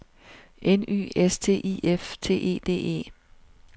N Y S T I F T E D E